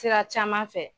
Sira caman fɛ